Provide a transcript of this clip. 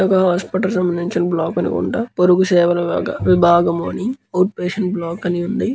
ఒక హాస్పిటల్ సంబంధించిన బ్లాక్ అనుకుంట పోరుగు సేవ ల వివగా విభాగము అని అవుట్ పేషెంట్ బ్లాక్ అని వుంది.